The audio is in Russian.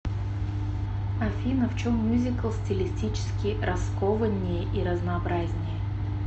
афина в чем мюзикл стилистически раскованнее и разнообразнее